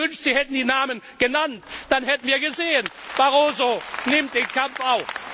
Ich hätte mir gewünscht, Sie hätten die Namen genannt, dann hätten wir gesehen, Barroso nimmt den Kampf auf!